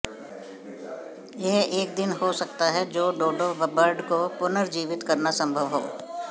यह एक दिन हो सकता है जो डोडो बर्ड को पुनर्जीवित करना संभव हो